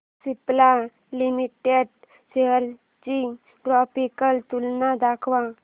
Cipla limited shares ची graphical तुलना दाखव